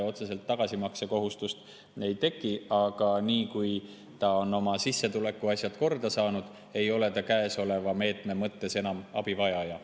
Otseselt tagasimaksekohustust ei teki, aga nii kui ta on oma sissetulekuasjad korda saanud, ei ole ta käesoleva meetme mõttes enam abivajaja.